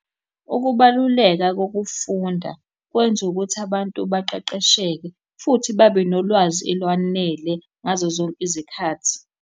Ukubaluleka kokufunda kwenza ukuthi abantu baqeqesheke futhi babe nolwazi olwanele ngazo zonke izikhathi.